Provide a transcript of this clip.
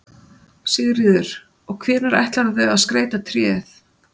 Sigríður: Og hvenær ætlarðu að skreyta tréð?